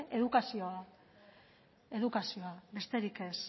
edukazioa da edukazioa besterik ez